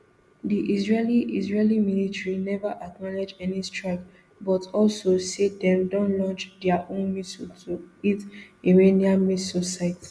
di israeli israeli military neva acknowledge any strike but also say dem don launch dia own missiles to hit iranian missile site